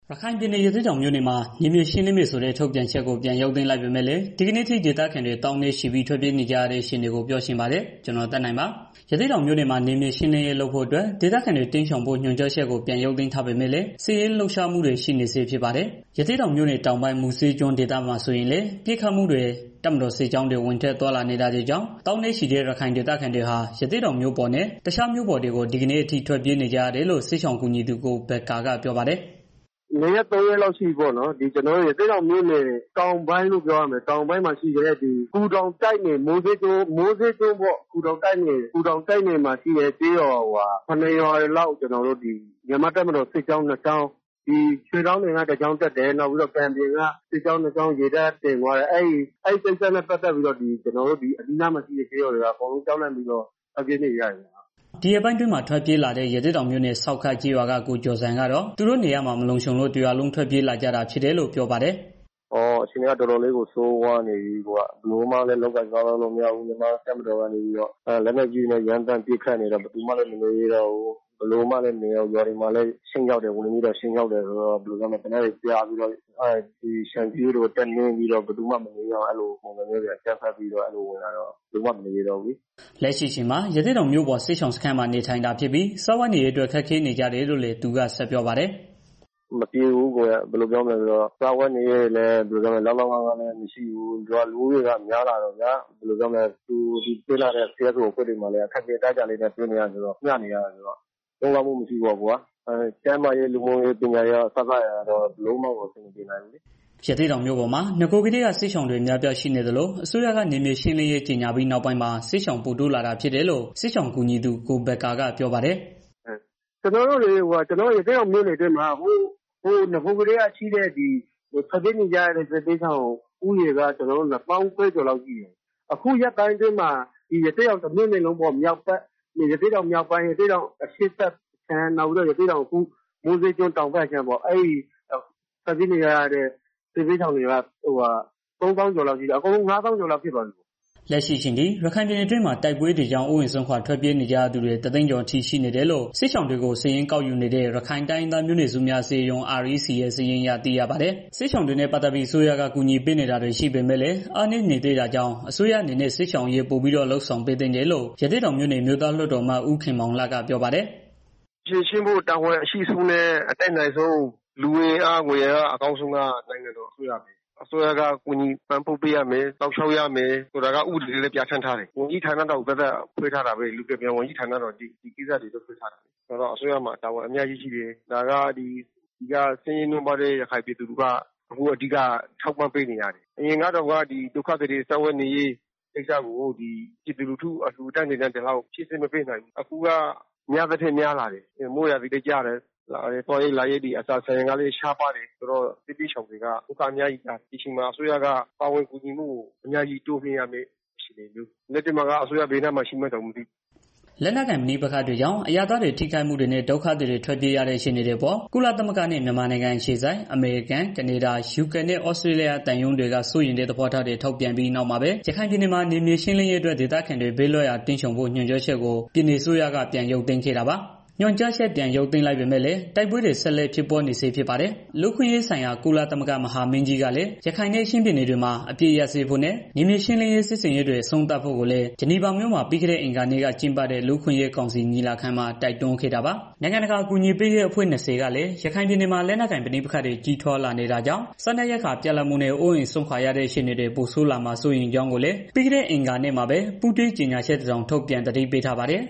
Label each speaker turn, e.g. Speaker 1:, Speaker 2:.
Speaker 1: ရခိုင်ပြည်နယ် ရသေ့တောင်မြို့နယ်မှာ နယ်မြေရှင်းလင်းမယ်ဆိုတဲ့ ထုတ်ပြန်ချက်ကို ပြန်ရုပ်သိမ်းလိုက်ပေမဲ့ ဒီကနေ့အထိ ဒေသခံတွေ သောင်းနဲ့ချီပြီး ထွက်ပြေးနေကြရတဲ့ အခြေအနေကို ဗွီအိုအေမြန်မာပိုင်းသတင်းထောက် ကိုသက်နိုင်က ပြောပြပေးပါမယ်။ ရသေ့တောင်မြို့နယ်မှာ နယ်မြေရှင်းလင်းရေးလုပ်ဖို့အတွက် ဒေသခံတွေ တိမ်းရှောင်ဖို့ ညွှန်ကြားချက်ကို ပြန်ရုပ်သိမ်းထားပေမဲ့ စစ်ရေးလှုပ်ရှားမှုတွေ ရှိနေဆဲ ဖြစ်ပါတယ်။ ရသေ့တောင်မြို့နယ်တောင်ပိုင်း မူစဲကျွန်းဒေသမှာ ဆိုရင်လည်း ပစ်ခတ်မှုတွေ တပ်မတော်စစ်ကြောင်းတွေ ဝင်ထွက်သွားလာနေတာတွေကြောင့် သောင်းနဲ့ချီတဲ့ ဒေသခံတွေဟာ ရသေ့တောင်မြို့ပေါ်နဲ့ တခြားမြို့ပေါ်တွေကို ဒီကနေ့ အထိထွက်ပြေးနေကြရတယ်လို့ စစ်ရှောင်ကူညီသူ ကိုဘက္ကာက ပြောပါတယ်။
Speaker 2: "နှစ်ရက်၊ သုံးရက်လောက် ရှိပြီပေါ့နော်။ ကျနော်တို့ ရသေ့တောင်မြို့နယ် တောင်ပိုင်းပေါ့နော် ဒီမူစဲကျွန်း ဂူတောင်တိုက်နယ်မှာ ရှိတဲ့ကျေးရွာ ၇ ရွာလောက်ဟာ မြန်မာ့တပ်မတော်စစ်ကြောင်း နှစ်ကြောင်း ရွှေလောင်တင်က တစ်ကြောင်းတက်တယ်။ နောက်ပြီးတော့ ကန်ပြင်က တစ်ကြောင်း တက်နေတာကြောင့် ဒေသခံတွေက ကြောက်လန့်ပြီးတော့ ထွက်ပြေးနေကြရတယ်။
Speaker 1: " ဒီရက်ပိုင်းအတွင်းမှာ ထွက်ပြေးလာတဲ့ ရသေ့တောင်မြို့နယ် ဆောက်ခတ်ကျေးရွာက ကိုကျော်ဇံကတော့ သူတို့နေရပ်မှာ မလုံခြုံလို့ တစ်ရွာလုံး ထွက်ပြေးလာကြတာဖြစ်တယ်လို့ ပြောပါတယ်
Speaker 3: ။ "အခြေအနေကတော့ တော်တော်လေးကို ဆိုးရွားနေပြီဗျာ။ ကျနော်တို့မှာ ဘယ်လိုမှကို လုပ်ကိုင်စားသောက်လို့ မရဘူး။ လက်နက်ကြီးတွေနဲ့ ပစ်နေကြတာ။ ရွာတွေမှာလည်း နေလို့မရတော့ဘူး။ ရွာသားတွေကိုလည်း လည်ပင်းတွေ တက်နင်းပြီးတော့ အကြမ်းဖက်တာတွေ ရှိတော့ အကုန်လုံးက ကြောက်လန့်ပြီးတော့ ထွက်ပြေးနေကြ
Speaker 1: ရတယ်။" လက်ရှိအချိန်မှာ ရသေ့တောင်မြို့ပေါ် စစ်ရှောင်စခန်းမှာ နေထိုင်ကြတာဖြစ်ပြီး စားဝတ်နေရေးအတွက် ခက်ခဲနေကြတယ်လို့လည်း သူက ဆက်ပြောပါတယ်။ "
Speaker 3: အဆင်မပြေဘူး။ စားဝတ်နေရေးတွေလည်း လောက်လောက်ငှငှ မရှိဘူး။ လူဦးရေကလည်း တဖြည်းဖြည်း တိုးလာတာဆိုတော့ ကူညီပေးနေတဲ့ အဖွဲ့အစည်းတွေမှာလည်း အခက်အခဲရှိကြတာ။ လုံလောက်မှု မရှိဘူး၊ ကျန်းမာရေး၊ ပညာရေး၊ လူမှုရေး အစစအရာရာ ဘယ်မလိုမှကို အဆင်မပြေဘူး။
Speaker 1: " ရသေ့တောင်မြို့ပေါ်မှာ နဂိုကတည်းက စစ်ရှောင်တွေ အများအပြား ရှိနေသလို အစိုးရက နယ်မြေရှင်းလင်းရေး ကြေငြာပြီးနောက်ပိုင်းမှာ စစ်ရှောင်ပိုတိုးလာဖြစ်တယ်လို့ စစ်ရှောင်ကူညီသူ ကိုဘက္ကာက ပြောပါတယ်
Speaker 2: ။ "ကျနော်တို့ ရသေ့တောင်မြို့နယ်အတွင်းမှာ ကျနော်တို့ နဂိုကတည်းက ရှိတဲ့ ထွက်ပြေးနေရတဲ့ စစ်ရှောင်ဦးရေက ၂၀,၀၀၀ ကျော်လောက်ရှိတယ်။ အခုရက်ပိုင်းအတွင်းမှာ ရသေ့တောင်မြောက်ဘက်၊ အရှေ့ဘက်နဲ့ တောင်ဘက် မူစဲကျွန်းဘက် ထပ်ရောက်လာတဲ့ သူတွေနဲ့က ၃၀,၀၀၀ လောက်ရှိတယ်။ အားလုံးပေါင်းကတော့ ၅၀,၀၀၀ ကျော်လောက်ရှိတယ်။"
Speaker 1: လက်ရှိအချိန်အထိ ရခိုင်ပြည်နယ်အတွင်းမှာ တိုက်ပွဲတွေကြောင့် အိုအိမ်စွန့်ခွာ ထွက်ပြေးနေကြရသူတွေ ၁၀၀,၀၀၀ ကျော်အထိ ရှိနေတယ်လို့ စစ်ရှောင်တွေကို စာရင်းကောက်ယူနေတဲ့ ရခိုင်တိုင်းရင်းသားမျိုးနွယ်စုများ အစည်းအရုံး REC ရဲ့ စာရင်းအရ သိရပါတယ်။ စစ်ရှောင်တွေနဲ့ ပတ်သတ်ပြီး အစိုးရက ကူညီထောက်ပံ့ပေးနေတာတွေ ရှိပေမဲ့လည်း အားနည်းနေ သေးတာကြာင့် အစိုးရအနေနဲ့ စစ်ရှောင်အရေးပိုပြီးတော့ လုပ်ဆောင်ပေးသင့်တယ်လို့ ရသေ့တောင်မြို့နယ် အမျိုးသားလွှတ်တော်အမတ် ဦးခင်မောင်လတ်ကပြောပါတယ်။
Speaker 4: "ဖြေရှင်းဖို့ တာဝန်အရှိဆုံးနဲ့ လူအင်အား၊ ငွေအင်အား အတတ်နိုင်ဆုံးကတော့ အစိုးရပါပဲ။ အစိုးရက ကူညီ ထောက်ပံ့ပေးရမယ်။ စောင့်ရှာက် ပေးရမယ်။ ဆိုပြီးတော့ ဥပဒေကလည်း ပြဌာန်းထားတယ်။ ဝန်ကြီးဌာနတောင် ဖွဲ့ပေးထားတာပဲ။ လူကယ်ပြန်ဝန်ကြီးဌာနက ဒီကိစ္စတွေအတွက် ဖွဲ့ပေးထားတာ။ အစိုးရမှာ တာဝန် အများကြီးရှိတယ်။ ဆင်းရဲနွမ်းပါးတဲ့ ရခိုင်ပြည်သူတွေက အဓိက ထောက်ပံ့ပေးထားရတယ်။ အရင်ကတောင် ဒုက္ခသည်တွေ စားဝတ်နေရေးအတွကို ပြည်သူလူထု အလှူအတန်းတွေနဲ့ ဒီလောက်ဖြည့်ဆည်း မပေးနိုင်ဘူး။ အခုက များသထက် များလာတယ်။ မိုးရာသီလည်း ဖြစ်နေတော့ သွားရေးလာရေး ကအစ ဆန်ရေ စပါးတွေကလည်း ရှားပါးလာတယ်။ ဒီအချိန်မှာ အစိုးရက ကူညီကယ်ဆယ်ရေးတွေ အများကြီး လုပ်ပေးရမှာ လက်ရှိမှာက အစိုးရက ဘယ်နားမှာလဲတောင် မသိဘူး။
Speaker 1: " လက်နက်ကိုင်ပဋိပက္ခတွေကြောင့် အရပ်သားတွေ ထိခိုက်မှုတွေနဲ့ ဒုက္ခသည်တွေ ထွက်ပြေးနေရတဲ့ အခြေအနေတွေအပေါ် ကုလသမဂ္ဂနဲ့ မြန်မာနိုင်ငံအခြေစိုက် အမေရိကန်၊ ကနေဒါ၊ ယူကေနဲ့ သြစတြေးလျ သံရုံးတွေက စိုးရိမ်တဲ့ သဘောထားတွေ ထုတ်ပြန်ပြီး နောက်မှာပဲ ရခိုင်ပြည်နယ်မှာ နယ်မြေရှင်းလင်းရေးအတွက် ဒေသခံတွေ ဘေးလွတ်ရာ တိမ်းရှောင်ဖို့ ညွှန်ကြားချက်ကို ပြည်နယ်အစိုးရက ပြန်ရုပ်သိမ်းခဲ့တာပါ။ ညွှန်ကြားချက် ပြန်ရုပ်သိမ်းလိုက်ပေမဲ့လည်း တိုက်ပွဲတွေ ဆက်လက် ဖြစ်ပွားနေဆဲ ဖြစ်ပါတယ်။ လူ့အခွင့်အရေးဆိုင်ရာ ကုလသမဂ္ဂ မဟာမင်းကြီးကလည်း ရခိုင်နဲ့ ချင်းပြည်နယ်တွေမှာ အပစ်အခတ်ရပ်စဲဖို့နဲ့ နယ်မြေရှင်းလင်းရေး စစ်ဆင်ရေးတွေ အဆုံးသတ်ဖို့လည်း ဂျနီဗာမြို့မှာပြီးခဲ့တဲ့ အင်္ဂါနေ့က ကျင်းပတဲ့ လူ့အခွင့်အရေးကောင်စီ ညီလာခံမှာ တိုက်တွန်းခဲ့တာပါ။ နိုင်ငံတကာ အကူအညီပေးရေးအဖွဲ့ ၂၀ ကလည်း ရခိုင်ပြည်နယ်မှာ လက်နက်ကိုင် ပဋိပက္ခတွေ ကြီးထွားလာနေတာကြောင့် စားနပ်ရိက္ခာ ပြတ်လပ်မှုနဲ့ အိုးအိမ်စွန့်ခွာရတဲ့ အခြေအနေတွေ ပိုဆိုးလာမှာ စိုးရိမ်ကြောင်းလည်း ပြီးခဲ့တဲ့ အင်္ဂါနေ့မှာပဲ ပူးတွဲကြေညာချက်တစောင် ထုတ်ပြန်သတိပေးထားပါတယ်